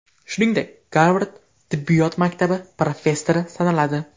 Shuningdek, Garvard tibbiyot maktabi professori sanaladi.